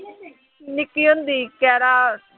ਨਿੱਕੀ ਹੁੰਦੀ ਗਿਆਰਾਂ